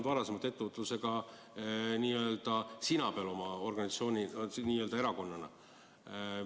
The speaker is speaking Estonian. Te olete oma erakonnaga olnud varem ettevõtlusega sina peal.